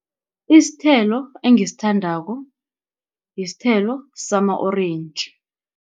Isithelo engisithandako yisithelo sama-orentji.